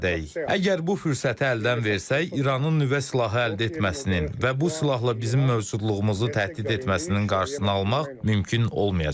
Əgər bu fürsəti əldən versək, İranın nüvə silahı əldə etməsinin və bu silahla bizim mövcudluğumuzu təhdid etməsinin qarşısını almaq mümkün olmayacaq.